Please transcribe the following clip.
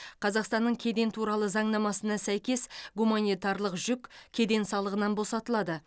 қазақстанның кеден туралы заңнамасына сәйкес гуманитарлық жүк кеден салығынан босатылады